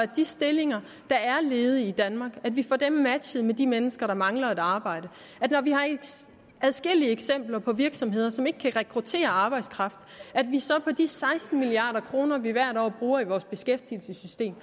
de stillinger der er ledige i danmark matchet med de mennesker der mangler et arbejde vi har adskillige eksempler på virksomheder som ikke kan rekruttere arbejdskraft og at vi så for de seksten milliard kr vi hvert år bruger i vores beskæftigelsessystem